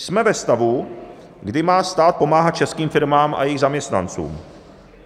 Jsme ve stavu, kdy má stát pomáhat českým firmám a jejich zaměstnancům.